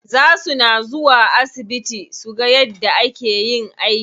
Za suna zuwa asibiti suga yadda ake yin aiki.